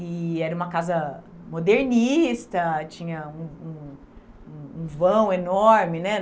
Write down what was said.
E era uma casa modernista, tinha um um um vão enorme, né?